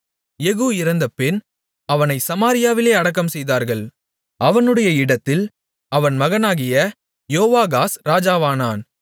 யெகூ இறந்தபின் அவனைச் சமாரியாவில் அடக்கம்செய்தார்கள் அவனுடைய இடத்தில் அவன் மகனாகிய யோவாகாஸ் ராஜாவானான்